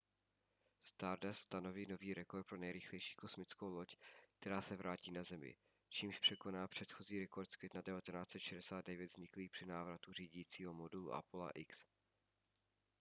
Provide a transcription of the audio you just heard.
stardust stanoví nový rekord pro nejrychlejší kosmickou loď která se vrátí na zemi čímž překoná předchozí rekord z května 1969 vzniklý při návratu řídícího modulu apolla x